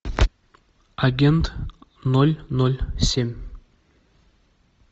агент ноль ноль семь